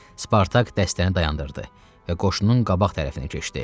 Spartak dəstəni dayandırdı və qoşunun qabaq tərəfinə keçdi.